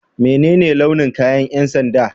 Menene launin kayan ƴan sanda?